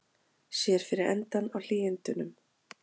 Sér fyrir endann á hlýindunum